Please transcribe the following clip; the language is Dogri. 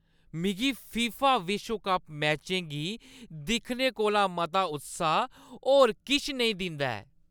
मिगी फीफा विश्व कप मैचें गी दिक्खने कोला मता उत्साह होर किश नेईं दिंदा ऐ।